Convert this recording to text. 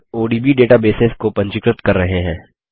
odb databases को पंजीकृत कर रहे हैं